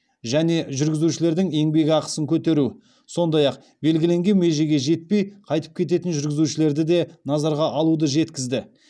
және жүргізушілердің еңбекақысын көтеру сондай ақ белгіленген межеге жетпей қайтып кететін жүргізушілерді де назарға алуды жеткізді